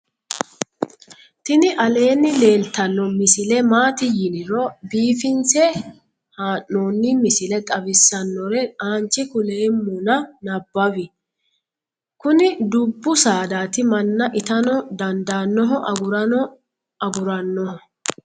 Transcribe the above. tini aleenni leeltanno misile maati yiniro biifinse haa'noni misile xawisssannore aanche kuleemmona nabawi kuni dubbu saadaati manna itano dandaannoho agurano agurannoho